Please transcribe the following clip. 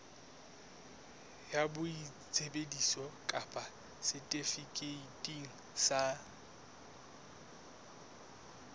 ya boitsebiso kapa setifikeiti sa